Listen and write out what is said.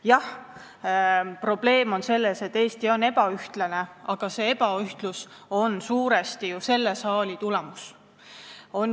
Jah, probleem on selles, et Eesti on ebaühtlane, aga see ebaühtlus on ju suuresti selle saali töö tulemus.